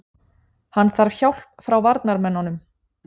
Hann þarf hjálp frá varnarmönnunum.